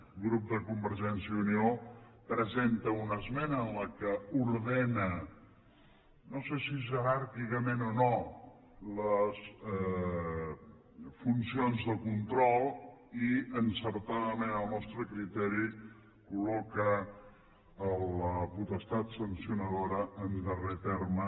el grup de convergència i unió presenta una esmena en què ordena no sé si jeràrquicament o no les funcions de control i encertadament al nostre criteri colloca la potestat sancionadora en darrer terme